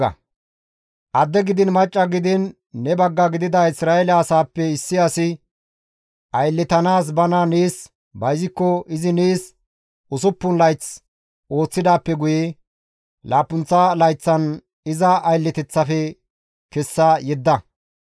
Adde gidiin macca gidiin ne bagga gidida Isra7eele asaappe issi asi ayllettanaas bana nees bayzikko izi nees usuppun layth ooththidaappe guye laappunththa layththan iza aylleteththafe kessa yedda.